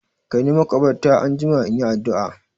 Kaini makabarta anjima in yi addu'a!